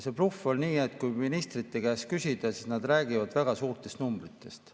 See bluff on selline, et kui ministrite käest küsida, siis nad räägivad väga suurtest numbritest.